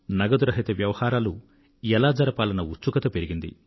నగదు రహిత వ్యవహారాలు ఎలా జరపాలన్న ఉత్సుకత పెరిగింది